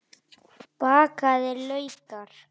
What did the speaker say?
Bakaðir laukar